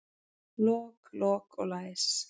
Lok, lok og læs.